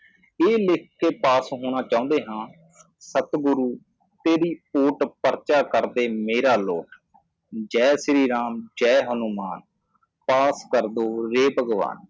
ਇਹ ਲਿੱਖ ਕੇ ਪਾਸ ਹੋਣਾ ਚਾਹੁੰਦੇ ਹਾਂ ਸਤਿਗੁਰੂ ਤੇਰੀ ਓਟ ਪਰਚਾ ਕਰ ਦੇ ਮੇਰਾ ਲੋਟ ਜੈ ਸ਼੍ਰੀ ਰਾਮ ਜੈ ਹਨੂਮਾਨ ਪਾਸ ਕਰਦੋ ਯੇ ਭਗਵਾਨ